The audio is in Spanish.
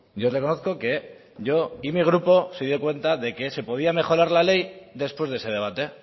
yo reconozco que yo y mi grupo se dio cuenta de que se podía mejorar le ley después de ese debate